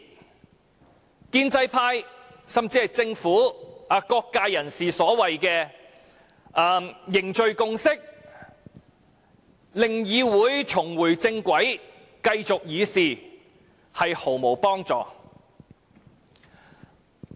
此舉對建制派甚至是政府及各界人士表示要凝聚共識，要令議會重回正軌並繼續議事的說法毫無幫助。